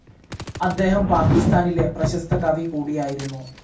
അദ്ദേഹം പാകിസ്താനിലെ പ്രശസ്ത കവി കൂടിയായിരുന്നു.